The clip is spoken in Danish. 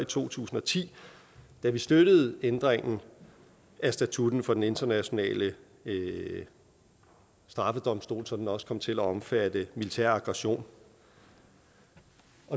to tusind og ti da vi støttede ændringen af statutten for den internationale straffedomstol så den også kom til at omfatte militær aggression